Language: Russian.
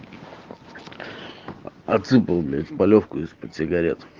отсыпал блять полёвку из-под сигарет